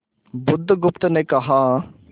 बुधगुप्त ने कहा